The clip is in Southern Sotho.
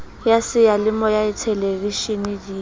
ya seyalemoya le theleveshene di